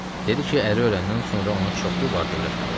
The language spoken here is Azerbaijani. Dedi ki, əri öləndən sonra ona çoxlu var-dövlət qalıb.